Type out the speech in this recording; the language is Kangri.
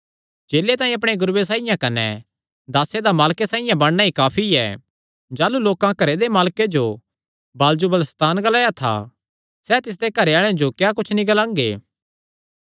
चेले तांई अपणे गुरूये साइआं कने दासे दा मालके साइआं बणना ई काफी ऐ जाह़लू लोकां घरे दे मालके जो बालजबूल सैतान ग्लाया तां सैह़ तिसदे घरे आल़ेआं जो क्या कुच्छ नीं ग्लांगे